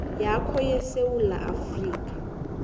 yakho yesewula afrika